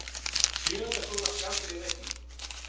Sjöunda gula spjaldið í leiknum.